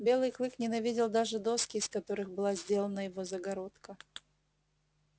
белый клык ненавидел даже доски из которых была сделана его загородка